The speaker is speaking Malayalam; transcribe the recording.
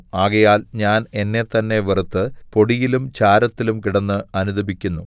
ആകയാൽ ഞാൻ എന്നെത്തന്നെ വെറുത്ത് പൊടിയിലും ചാരത്തിലും കിടന്ന് അനുതപിക്കുന്നു